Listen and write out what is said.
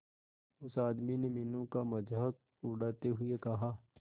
उस आदमी ने मीनू का मजाक उड़ाते हुए कहा